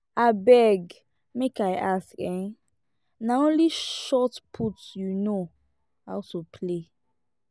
abeg make i ask eh na only shotput you know how to play?